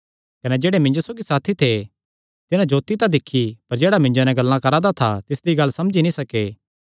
कने जेह्ड़े मिन्जो सौगी साथी थे तिन्हां जोत्ती तां दिक्खी पर जेह्ड़ा मिन्जो नैं गल्लां करा दा था तिसदी गल्ल समझी नीं सके